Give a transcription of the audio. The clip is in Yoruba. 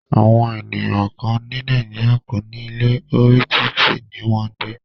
Àwọn ènìyàn kán ní Nàìjíríà kò ní ilé, orí títì ní wọn ń gbé.